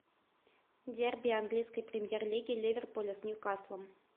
дерби английской премьер лиги ливерпуля с ньюкаслом